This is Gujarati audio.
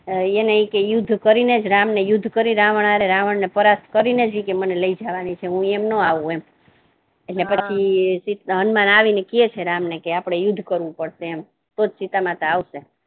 એને યુદ્ધ કરી ને રામ ને યુદ્ધ કરી રાવણ હારે રાવણ પરાસ્ત કરીને જ કે મને લઈ જવાની છે હું એમ ના આવુ એમ એટલે પછી હનુમાન આવી ને કહે છે રામ ને કે આપણે યુદ્ધ કરવુ પડશે એમ તો જ સીતામાતા આવશે